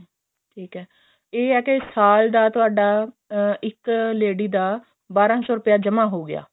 ਠੀਕ ਐ ਇਹ ਹੈ ਕੇ ਸਾਲ ਦਾ ਤੁਹਾਡਾ ਇੱਕ lady ਦਾ ਬਾਰਾਂ ਸੋ ਰੁਪਿਆ ਜਮਾਂ ਹੋ ਗਿਆ